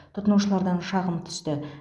тұтынушылардан шағым түсті